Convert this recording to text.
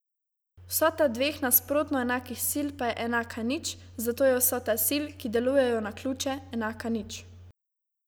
Vsota dveh nasprotno enakih sil pa je enaka nič, zato je vsota sil, ki delujejo na ključe, enaka nič.